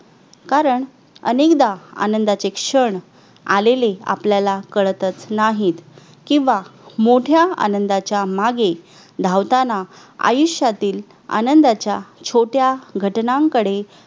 कारण अनेकदा आनंदाचे क्षण आलेले आपल्याला कळतच नाहीत किंवा मोठ्या आनंदाच्या मागे धावताना आयुष्यातील आनंदाच्या छोट्या घटनांकडे